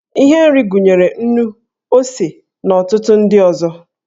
Ihe nri gụnyere nnu, ose, na ọtụtụ ndị ọzọ.